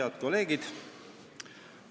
Head kolleegid!